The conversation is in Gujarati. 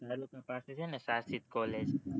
college